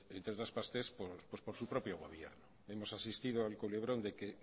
pues por entre otras partes por su propio gobierno hemos asistido al culebrón de que